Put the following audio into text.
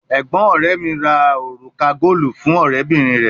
Arakunrin ọrẹ mi oruka goolu fun ọrẹbinrin rẹ